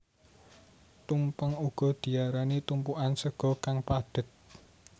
Tumpeng uga diarani tumpukan sega kang padhet